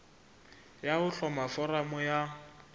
ya ho hloma foramo ya